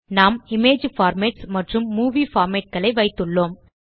நாம் image formats மற்றும் movie formatகளை வைத்துள்ளோம்